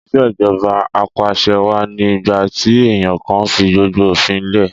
Ìṣèjọba Apàṣẹwà ni ìgbà tí èèyàn kan fi gbogbo òfin lẹ̀